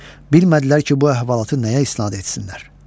Bilmədilər ki, bu əhvalatı nəyə isnad etsinlər.